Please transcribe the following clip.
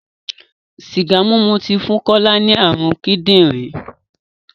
Sìgá mímu ti fún Kọ́lá ní ààrùn kídìrí.